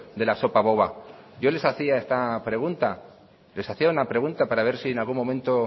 de la sopa boba yo les hacía esta pregunta les hacía una pregunta para ver si en algún momento